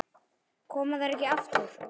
Koma þær ekki aftur?